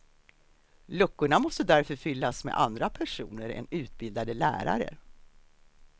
Luckorna måste därför fyllas med andra personer än utbildade lärare.